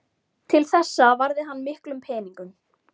Til þessa varði hann miklum peningum.